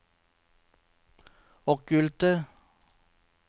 okkulte